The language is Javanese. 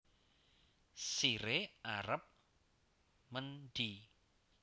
Sire arep mendhi